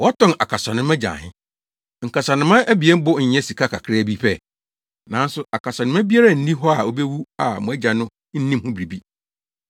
Wɔtɔn akasanoma gye ahe? Nkasanoma abien bo nyɛ sika kakraa bi pɛ? Nanso akasanoma biara nni hɔ a obewu a mo Agya no nnim ho biribi.